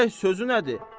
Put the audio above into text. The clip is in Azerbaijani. görək sözü nədir